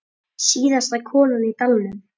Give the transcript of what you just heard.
Síðasta konan í dalnum